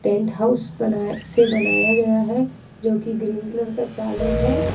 Tent house से बनाया गया है जो कि ग्रीन कलर का चादर है।